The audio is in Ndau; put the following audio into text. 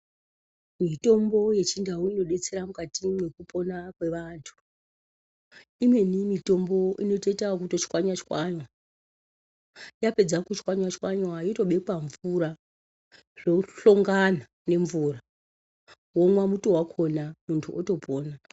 Mutombo yechibdau inodetsera mukati mwekupona kwevantu. Imweni mitombo inoitwe kuto chwanywa chwanywa. Yapedza kuchwanywa chwanywa yotobekwa mvura zvohlongana nenvura. Womwa muto wakona muntu utopona.